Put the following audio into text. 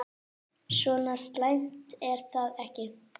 Svo slæmt er það ekki.